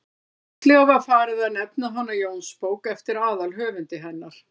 fljótlega var farið að nefna hana jónsbók eftir aðalhöfundi hennar